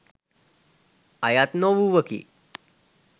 අයත් නොවූවකි